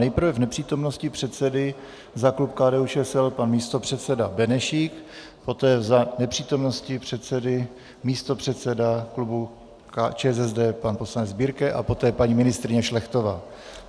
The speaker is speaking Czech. Nejprve v nepřítomnosti předsedy za klub KDU-ČSL pan místopředseda Benešík, poté za nepřítomnosti předsedy místopředseda klubu ČSSD pan poslanec Birke a poté paní ministryně Šlechtová.